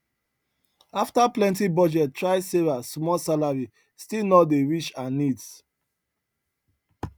after plenty budget try sarah small salary still no dey reach her needs